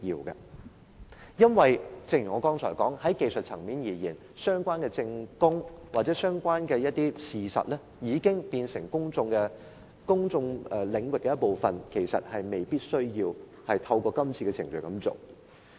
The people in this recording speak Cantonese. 正如我剛才所說，在技術層面而言，當一些相關的證供或事實已經變成公眾領域的一部分，其實未必需要透過今次的程序取得。